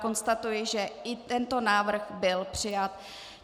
Konstatuji, že i tento návrh byl přijat.